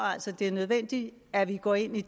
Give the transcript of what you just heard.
det er nødvendigt at vi går ind i